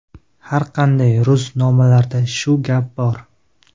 Har qalay, ro‘znomalarda shu gap bor.